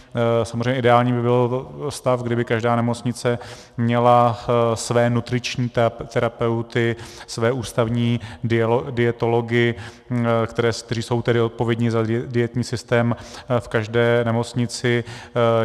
Samozřejmě ideální by byl stav, kdyby každá nemocnice měla své nutriční terapeuty, své ústavní dietology, kteří jsou tedy odpovědni za dietní systém v každé nemocnici.